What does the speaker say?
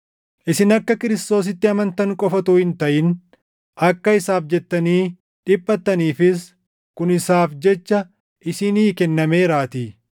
Isin akka Kiristoositti amantan qofa utuu hin taʼin akka isaaf jettanii dhiphattaniifis kun isaaf jechaa isinii kennameeraatii;